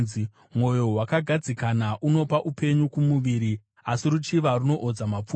Mwoyo wakagadzikana unopa upenyu kumuviri, asi ruchiva runoodza mapfupa.